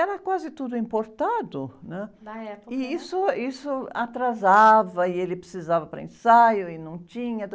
Era quase tudo importado, né? a época era... isso, isso atrasava, e ele precisava para ensaio, e não tinha.